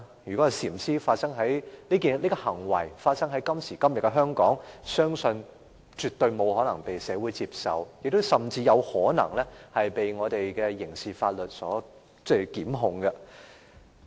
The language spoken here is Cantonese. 如果禪師這行為發生在今時今日的香港，相信絕對不可能為社會接受，甚至有可能被刑事檢控。